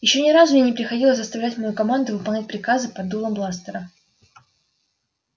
ещё ни разу мне не приходилось заставлять мою команду выполнять приказы под дулом бластера